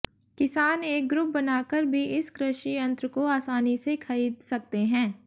किसान एक ग्रुप बनाकर भी इस कृषि यन्त्र को आसानी से खरीद सकते हैं